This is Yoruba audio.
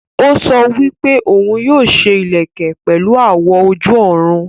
Ó sọ wípé òun yóò ṣe ìlẹ̀kẹ̀ pẹ̀lu àwọ̀ ojú-ọ̀run